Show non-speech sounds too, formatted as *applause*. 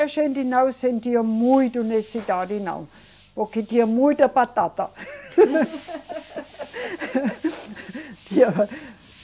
A gente não sentia muita necessidade, não, porque tinha muita batata. *laughs*